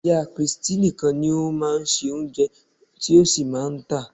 Ìyá christy nìkan ni ó máa ń se Oúnjẹ tí ó sì máa ń tà á.